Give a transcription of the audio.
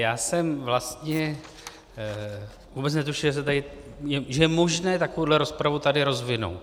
Já jsem vlastně vůbec netušil, že je možné takovouhle rozpravu tady rozvinout.